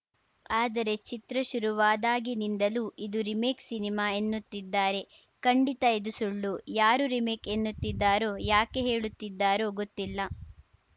ಆದರೆ ಚಿತ್ರ ಶುರುವಾದಾಗಿನಿಂದಲೂ ಇದು ರೀಮೇಕ್‌ ಸಿನಿಮಾ ಎನ್ನುತ್ತಿದ್ದಾರೆ ಖಂಡಿತ ಇದು ಸುಳ್ಳು ಯಾರು ರೀಮೇಕ್‌ ಎನ್ನುತ್ತಿದ್ದಾರೋ ಯಾಕೆ ಹೇಳುತ್ತಿದ್ದಾರೋ ಗೊತ್ತಿಲ್ಲ